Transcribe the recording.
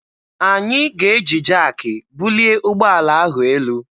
Anyị ga-eji jaakị bulie ụgbọala ahụ elu.